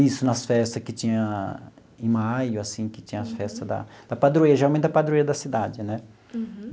Isso nas festas que tinha em maio, assim, que tinha as festas da da padroeira, geralmente da padroeira da cidade, né?